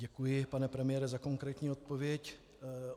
Děkuji, pane premiére, za konkrétní odpověď.